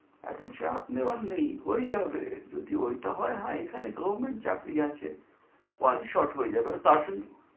এতো চাপ নেওয়ার নেই, হয়ে যাবে। যদি ঐটা হয় হয় এখানে government চাকরি আছে shot হয়ে যাবে, আমি